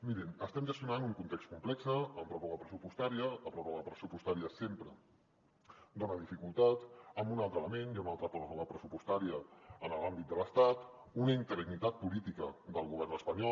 mirin estem gestionant un context complex amb pròrroga pressupostària la pròrroga pressupostària sempre dona dificultats amb un altre element hi ha una altra pròrroga pressupostària en l’àmbit de l’estat una interinitat política del govern espanyol